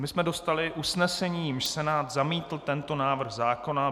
My jsme dostali usnesení, jímž Senát zamítl tento návrh zákona.